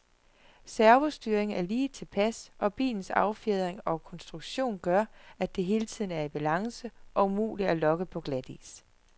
Servostyringen er lige tilpas, og bilens affjedring og konstruktion gør, at den hele tiden er i balance og umulig at lokke på glatis.